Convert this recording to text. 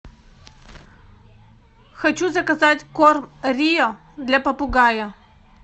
хочу заказать корм рио для попугая